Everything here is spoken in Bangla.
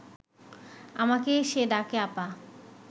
আমাকে সে ডাকে আপা